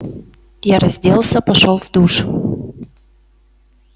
я разделся пошёл в душ